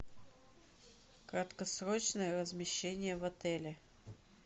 краткосрочное размещение в отеле